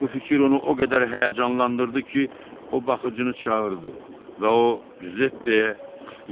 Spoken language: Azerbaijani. Bu fikir onu o qədər həyəcanlandırdı ki, o baxıcını çağırdı və o Cüzeppeyə